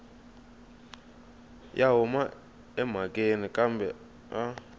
ya huma emhakeni kambe a